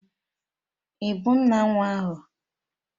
Ị bụ nna nwa ahụ?